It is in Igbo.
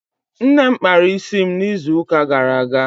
Nne m kpara isi m n'izu ụka gara aga